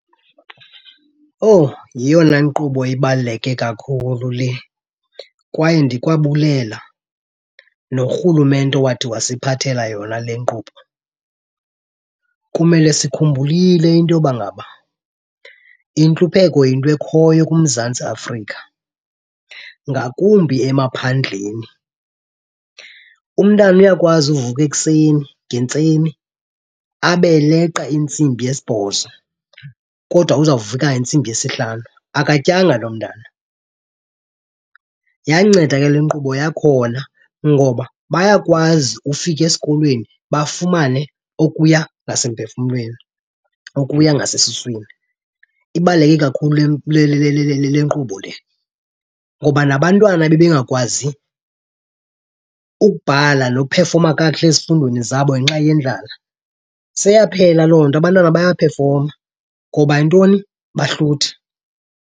Owu yeyona nkqubo ibaluleke kakhulu le kwaye ndikwabulela norhulumente owathi wasiphathela yona le nkqubo. Kumele sikhumbulile into yoba ngaba intlupheko yinto ekhoyo kuMzantsi Afrika, ngakumbi emaphandleni. Umntana uyakwazi uvuka ekuseni ngentseni abe eleqa intsimbi yesibhozo kodwa uzawuvuka ngentsimbi yesihlanu, akatyanga loo mntana. Yanceda ke le nkqubo yakhona, ngoba bayakwazi ufika esikolweni bafumane okuya ngasemphefumlweni, okuya ngasesuswini. Ibaluleke kakhulu le nkqubo le ngoba nabantwana ebebengakwazi ukubhala nophefoma kakuhle ezifundweni zabo ngenxa yendlala, seyaphela loo nto, abantwana bayaphefoma. Ngoba yintoni? Bahluthi.